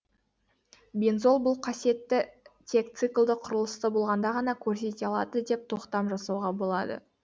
бензол бұл қасиетті тек циклді құрылысты болғанда ғана көрсете алады деп тоқтам жасауға болады